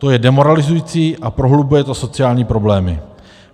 To je demoralizující a prohlubuje to sociální problémy.